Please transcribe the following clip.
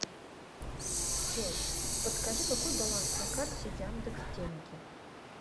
джой подскажи какой баланс на карте яндекс деньги